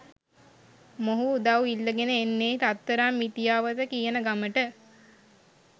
මොහු උදව් ඉල්ලගෙන එන්නෙ රත්තරන් මිටියාවත කියන ගමට.